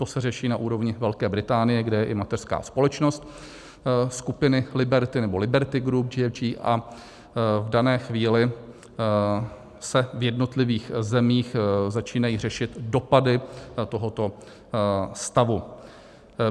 To se řeší na úrovni Velké Británie, kde je i mateřská společnost skupiny Liberty nebo Liberty Group GFG, a v dané chvíli se v jednotlivých zemích začínají řešit dopady tohoto stavu.